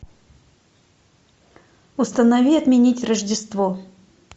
установи отменить рождество